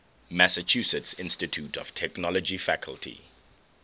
massachusetts institute of technology faculty